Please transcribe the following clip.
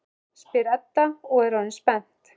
spyr Edda og er orðin spennt.